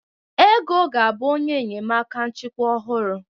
Ego ga-abụ onye enyemaka nchịkwa ọhụrụ.